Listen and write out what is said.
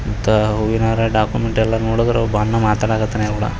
ಇತ್ತ ಹೂವಿನಹಾರ ಡಾಕ್ಯುಮೆಂಟ್ ಎಲ್ಲಾ ನೋಡಿದ್ರೆ ಏನೋ ಒಬ್ಬ ಅಣ್ಣ ಮಾತಾಡ್ತಾನೆ.